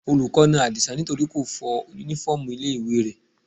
Olùkọ́ na Adisa nítorí kò fọ uniform ilé ìwé rẹ̀.